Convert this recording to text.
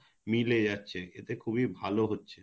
মিলে যাচ্ছে এতে খুবই ভাল হচ্ছে